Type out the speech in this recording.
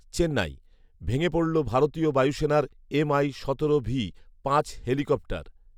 চেন্নাই, ভেঙে পড়ল ভারতীয় বায়ুসেনার এমআই সতেরো ভি পাঁচ হেলিকপ্টার